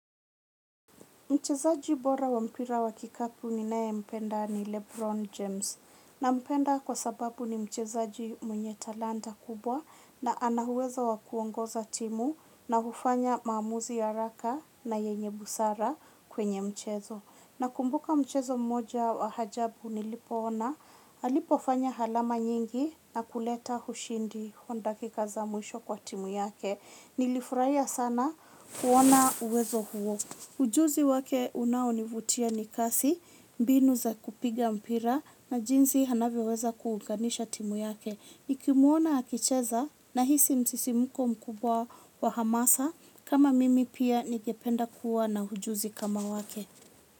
Mchezaji bora wa mpira wa kikapu ninayempenda ni Lebron James. Nampenda kwa sababu ni mchezaji mwenye talanta kubwa na ana huwezo wa kuongoza timu na hufanya maamuzi haraka na yenye busara kwenye mchezo. Nakumbuka mchezo mmoja wa ajabu nilipoona, alipofanya halama nyingi na kuleta hushindi honda kikaza mwisho kwa timu yake. Nilifurahia sana kuona uwezo huo. Ujuzi wake unaonivutia ni kasi, mbinu za kupiga mpira na jinzi anavyoweza kuunganisha timu yake. Nikimwona akicheza nahisi msisimuko mkubwa wa hamasa kama mimi pia ningependa kuwa na ujuzi kama wake.